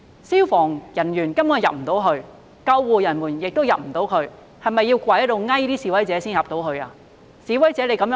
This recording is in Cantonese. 消防和救護人員無法進入，是否要跪下來求示威者才可以進去呢？